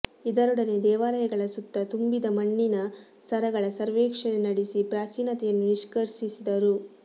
ಇದರೊಡನೆ ದೇವಾಲಯಗಳ ಸುತ್ತ ತುಂಬಿದ್ದ ಮಣ್ಣಿನ ಸ್ತರಗಳ ಸರ್ವೇಕ್ಷಣೆ ನಡೆಸಿ ಪ್ರಾಚೀನತೆಯನ್ನು ನಿಷ್ಕರ್ಷಿಸಿದರು